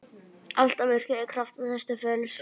Alltaf virkjað krafta þess til fulls.